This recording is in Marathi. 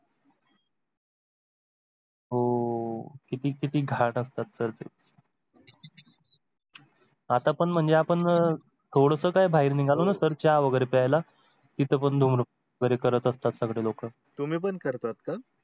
हो किती किती घाण असतात sir ते आता पण म्हणजे आपण थोडस काय बाहेर निघालो ना तर चहा वगैरे प्यायला, तिथं पण धूम्रपान करत असतात सगळे लोक. तम्ही पण करतात का?